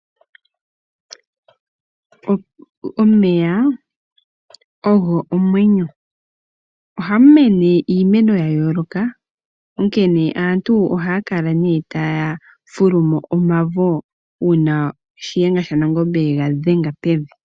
Omeya ogo omwenyo. Ohamu mene iimeno ya yooloka, onkene aantu ohaya kala taya fulumo omavo, uuna Shiyenga shanangombe yega dhenga pevi.